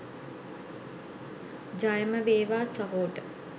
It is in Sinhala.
ජයම වේවා සහෝට .